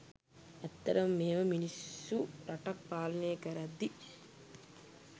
ඇත්තටම මෙහෙම මිනිස්සු රටක් පාලනය කරද්දි